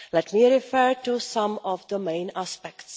Let me refer to some of the main aspects.